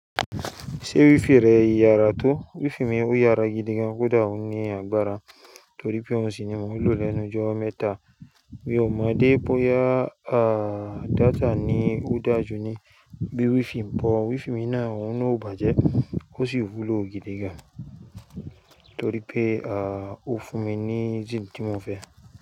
Ṣé wifi rẹ yàrá tó? Wifi mi ò yàrá gidi gan, kódà ó ní agbára torípé ó sì ni mò ń lò lẹ́nu ijo mẹ́ta. Mi ò mọ̀ dé bóyá data ni ó dáa jù ni bíi wifi, but wifi mi náà òún ò bàjẹ́ ó sì wúlò gidi gan torípé ó fún mi ní jìn tí mò ń fẹ́.